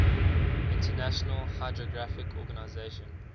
international hydrographic organization